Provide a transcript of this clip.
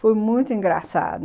Foi muito engraçado.